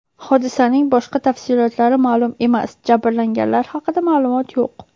Hodisaning boshqa tafsilotlari ma’lum emas, jabrlanganlar haqida ma’lumot yo‘q.